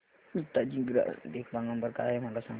हिताची चा ग्राहक देखभाल नंबर काय आहे मला सांगाना